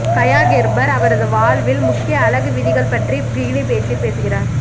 Gaya Gerber அவரது வாழ்வில் முக்கிய அழகு விதிகள் பற்றி பிகினி பேச்சில் பேசுகிறார்